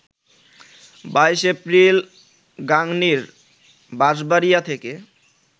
২২ April গাংনীর বাঁশবাড়িয়া থেকে